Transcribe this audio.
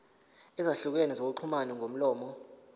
ezahlukene zokuxhumana ngomlomo